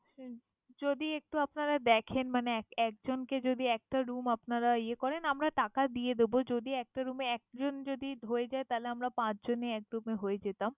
হুমম যদি একটু আপনারা দেখেন মানে এক একজনকে যদি একটা room আপনারা ইয়ে করেন, আমরা টাকা দিয়ে দিবো। যদি একটা room এ একজন যদি হয়ে যায় তাহলে আমরা পাঁচজনই এক room এ হয়ে যেতাম।